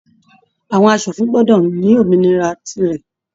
Àwọn aṣòfin gbọdọ ní òmìnira tí rẹ.